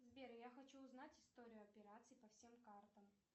сбер я хочу узнать историю операций по всем картам